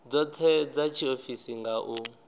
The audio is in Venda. dzothe dza tshiofisi nga u